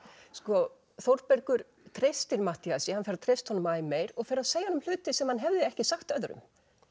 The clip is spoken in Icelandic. sko Þórbergur treystir Matthíasi hann fer að treysta honum æ meir og fer að segja honum hluti sem hann hefði ekki sagt öðrum